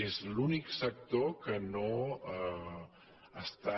és l’únic sector que no està